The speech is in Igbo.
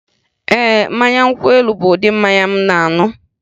Ee, mmanya nkwụ elu bụ ụdị mmanya m na-aṅụ.